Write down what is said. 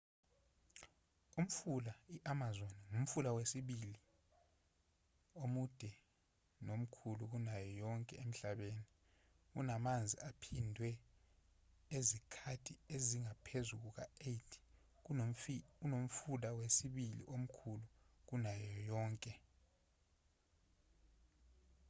umfula i-amazon ngumfula wesibili omude nomkhulu kunayo yonke emhlabeni unamanzi aphindwe izikhathi ezingaphezu kuka-8 kunomfula wesibili omkhulu kunayo yonke